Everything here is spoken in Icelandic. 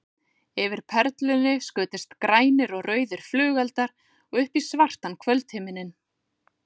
Yfir Perlunni skutust grænir og rauðir flugeldar upp í svartan kvöldhimininn.